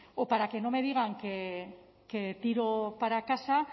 o para que no me digan que tiro para casa